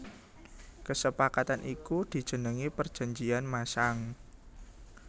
Kesepakatan iku dijenengi Perjanjian Masang